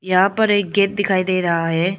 यहां पर एक गेट दिखाई दे रहा है।